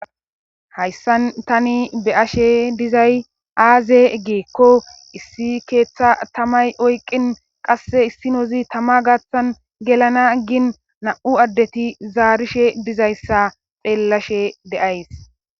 Hayssan tani be'ashe dizay aaze giikko issi keeththa tamay oyqin qasse issinozi tamma gaaththan gelana gin na'u addeti zaarishshe dizayssa xeellashe de'ays